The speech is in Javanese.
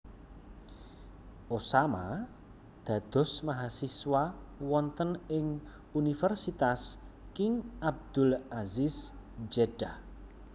Osama dados mahasiswa wonten ing Universitas King Abdul Aziz Jeddah